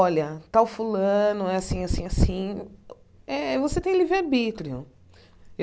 Olha, tal fulano, é assim, assim, assim... É, você tem livre-arbítrio.